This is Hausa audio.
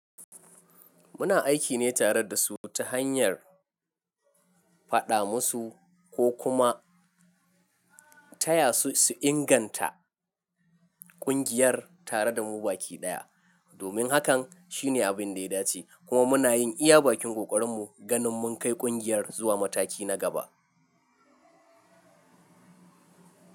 Muna aiki ne tare da su ta hanyar faɗa musu ko kuma taya su inganta ƙungiyar tare da mu baki ɗaya. Domin hakan shine abin da ya dace kuma muna yin iya bakin ƙoƙarin mu ganin mun kai ƙungiyar zuwa mataki na gaba.